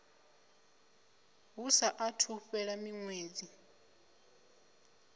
hu saathu u fhela miṅwedzi